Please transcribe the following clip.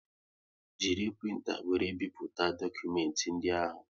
Jiri printa wéré bipụta dokumenti ndị ahụ